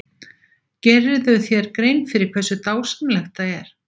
Gerirðu þér grein fyrir hversu dásamlegt það er?